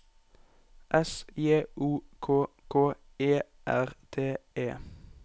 S J O K K E R T E